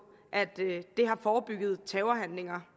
at det har forebygget terrorhandlinger